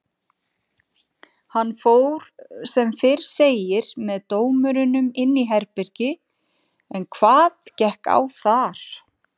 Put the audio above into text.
Hann fór sem fyrr segir með dómurunum inn í herbergi en hvað gekk á þar?